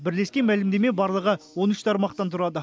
бірлескен мәлімдеме барлығы он үш тармақтан тұрады